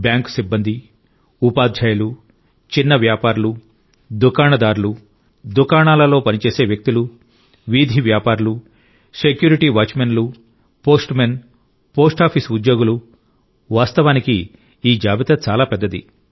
bank సిబ్బంది ఉపాధ్యాయులు చిన్న వ్యాపారులు దుకాణదారులు దుకాణాలలో పనిచేసే వ్యక్తులు వీధి వ్యాపారులు సెక్యూరిటీ వాచ్మెన్లు పోస్ట్మెన్ పోస్ట్ ఆఫీస్ ఉద్యోగులు వాస్తవానికి ఈ జాబితా చాలా పెద్దది